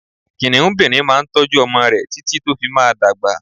Kìnìúnbìrin máa n tójú ọmọ rẹ̀ títí tó fi máa dagba